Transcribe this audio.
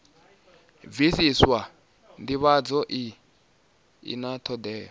bvisiswa ndivhadzo i na thodea